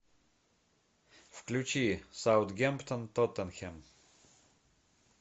включи саутгемптон тоттенхэм